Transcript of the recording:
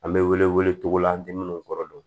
An bɛ wele wele togo la an tɛ minnu kɔrɔ don